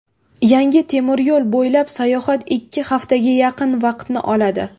Yangi temiryo‘l bo‘ylab sayohat ikki haftaga yaqin vaqtni oladi.